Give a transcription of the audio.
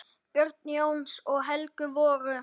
Börn Jóns og Helgu voru